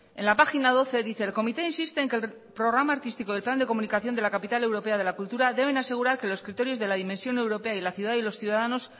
en la página doce dice el comité insiste en que el programa artístico del plan de comunicación de la capital europea de la cultura deben asegurarque los criterios de la dimensión europea y la ciudad y los ciudadanos